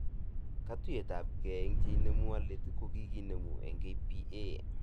Katuyetabke ak cheinemu alit kokikinemu eng KPA